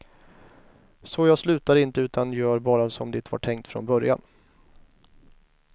Så jag slutar inte, utan gör bara som det var tänkt från början.